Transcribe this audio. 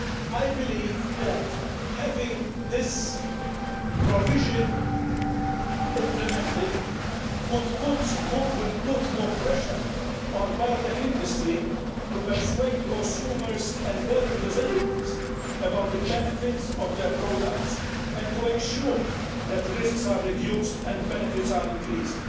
I believe that having this provision implemented would put more pressure on the biotech industry to persuade consumers and their representatives about the benefits of their products, and to ensure that risks are reduced and benefits are increased.